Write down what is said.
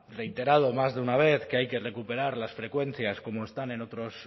reiterado en más de una vez que hay que recuperar las frecuencias como están